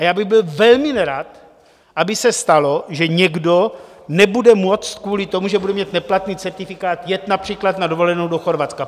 A já bych byl velmi nerad, aby se stalo, že někdo nebude moct kvůli tomu, že nebude mít neplatný certifikát, jet například na dovolenou do Chorvatska.